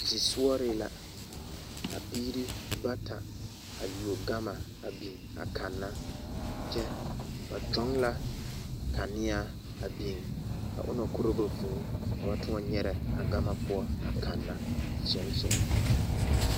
Zisɔgre la ka biiri bata a yuo gama a biŋ a kanna kyɛ ba kyoŋ la kaneaa a biŋ ka o na korɔ ba vuu ka ba toɔ nyɛrɛ a gama poɔ a kanna soŋsoŋ.